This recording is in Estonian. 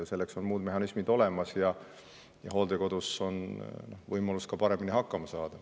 Selleks on muud mehhanismid olemas ja hooldekodus on võimalus ka paremini hakkama saada.